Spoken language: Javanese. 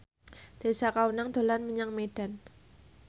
Tessa Kaunang dolan menyang Medan